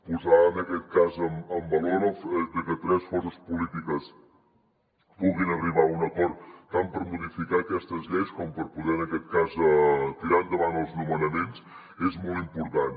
posar en aquest cas en valor el fet de que tres forces polítiques puguin arribar a un acord tant per modificar aquestes lleis com per poder en aquest cas tirar endavant els nomenaments és molt important